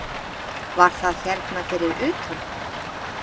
Var það hérna fyrir utan?